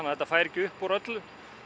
þetta færi ekki upp úr öllu